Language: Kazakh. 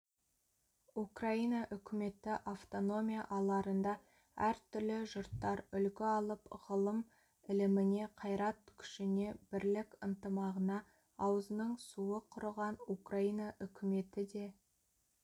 украина үкіметі автономия аларында әр түрлі жұрттар үлгі алып ғылым-іліміне қайрат-күшіне бірлік-ынтымағына аузының суы құрыған украина үкіметі де